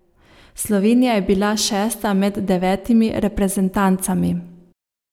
Slovenija je bila šesta med devetimi reprezentancami.